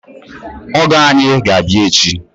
Ọgọ anyị ga-abịa echi